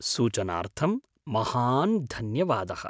सूचनार्थं महान् धन्यवादः।